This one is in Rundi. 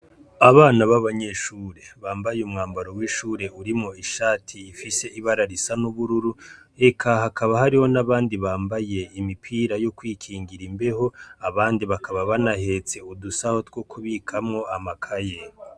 Abana b'abanyeshuri bambaye umwambaro w'ishuri urimwo ishati ifise ibara risa n'ubururu, eka hakaba hariho n'abandi bambaye imipira yo kwikingira imbeho, abandi bakaba banahetse udusaho two kubikamwo amakaye.